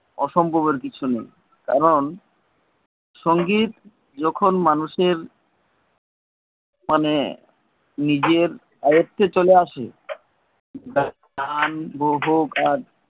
অসম্ভবের কিছু নেই কারণ সঙ্গীত যখন মানুষের মানে নিজের আয়ত্তে চলে আসে টান